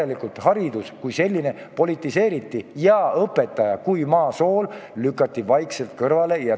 Järelikult haridus kui selline politiseeriti ja õpetaja kui maa sool lükati vaikselt kõrvale.